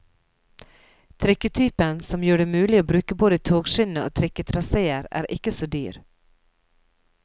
Trikketypen, som gjør det mulig å bruke både togskinne og trikketraséer, er ikke så dyr.